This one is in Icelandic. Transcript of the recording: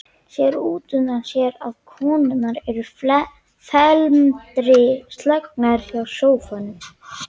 Sér útundan sér að konurnar eru felmtri slegnar hjá sófanum.